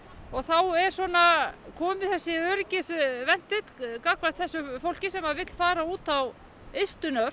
og þá er kominn þessi öryggisventill gagnvart þessu fólki sem vill fara út á ystu nöf